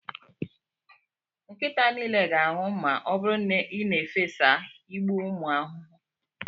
Nkịta niile ga-anwụ ma ọ bụrụ na ị na-efesa igbu ụmụ ahụhụ.